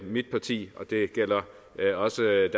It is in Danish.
mit parti og det gælder også